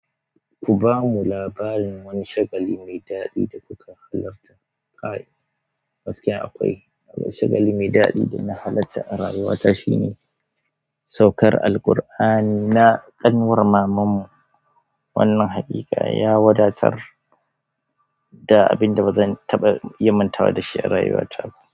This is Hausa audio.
Ku bamu labarin wani shagali mai daɗi da kuka halarta Kai. Gaskiya akwai, akwai shagali mai daɗi da na halarta a rayuwata shine saukar Alkur'ani na ƙanwar mamanmu. Wannan haƙiƙa, ya wadatar da abin da bazan taɓa iya mantawa da shi a rayuwata ba.